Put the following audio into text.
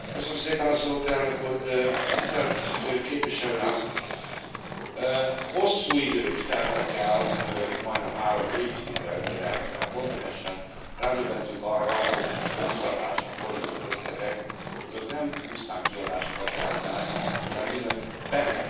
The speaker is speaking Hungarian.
Elnök úr, tisztelt képviselőház, hosszú idők teltek el, majdnem három évtized, mire ezen a kontinensen rádöbbentünk arra, hogy az oktatásra fordított összegek azok nem pusztán kiadásokat jelentenek, hanem bizony befektetést.